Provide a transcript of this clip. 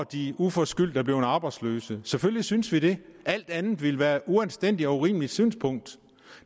de uforskyldt er blevet arbejdsløse selvfølgelig synes vi det alt andet ville være et uanstændigt og urimeligt synspunkt